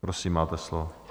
Prosím, máte slovo.